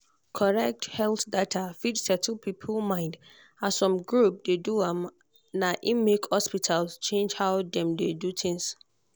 correct health data fit settle people mind as some groups dey do am na im make hospital change how dem dey do things.